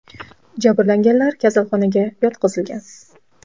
Jabrlanganlar kasalxonaga yotqizilgan.